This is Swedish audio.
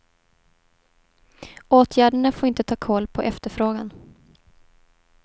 Åtgärderna får inte ta kål på efterfrågan.